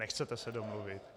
Nechcete se domluvit?